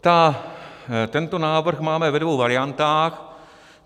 Tento návrh máme ve dvou variantách.